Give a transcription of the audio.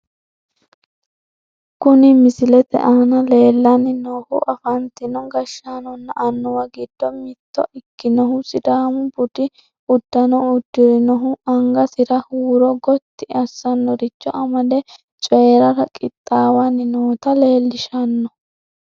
Kuni misilete aana leellanni noohu afantino gashshaanonna annuwa giddo mitto ikkinohu , sidaamu budu uddano uddirinohu, angasira huuro gotti assanoricho amade coyiirara qixxaawanni noota leelishanno.